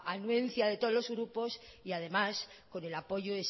de todos los grupos y además con el